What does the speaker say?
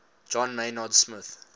john maynard smith